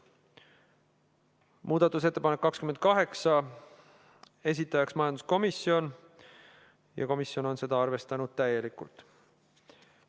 Muudatusettepanek nr 28, esitajaks majanduskomisjon ja komisjon on seda arvestanud täielikult.